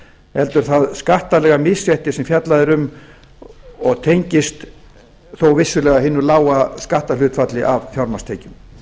heldur það skattalega misrétti sem fjallað er um og tengist þó vissulega hinu lága skatthlutfall af fjármagnstekjum